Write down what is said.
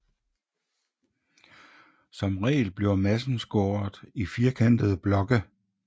Som regel bliver massen skåret i firkantede blokke